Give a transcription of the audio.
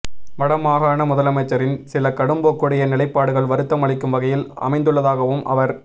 வட மாகாண முதலமைச்சரின் சில கடும்போக்குடைய நிலைப்பாடுகள் வருத்தம் அளிக்கும் வகையில் அமைந்துள்ளதாகவும் அவர்